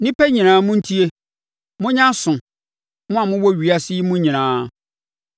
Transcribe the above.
Nnipa nyinaa, montie; monyɛ aso, mo a mowɔ ewiase yi mu nyinaa,